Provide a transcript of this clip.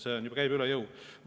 See käib üle jõu.